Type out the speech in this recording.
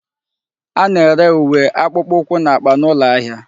A na-ere uwe, akpukpukwu na akpa n'ulo ahia